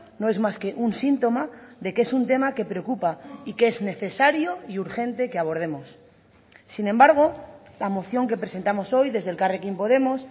no es más que un síntoma de que es un tema que preocupa y que es necesario y urgente que abordemos sin embargo la moción que presentamos hoy desde elkarrekin podemos